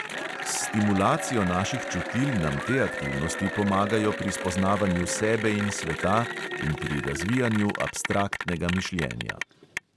S stimulacijo naših čutil nam te aktivnosti pomagajo pri spoznavanju sebe in sveta in pri razvijanju abstraktnega mišljenja.